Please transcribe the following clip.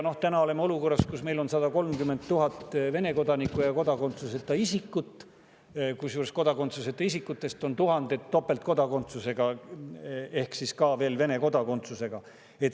Ja täna oleme olukorras, kus meil on 130 000 Vene kodanikku ja kodakondsuseta isikut, kusjuures kodakondsuseta isikutest on tuhanded topeltkodakondsusega ehk siis ka Vene kodakondsusega.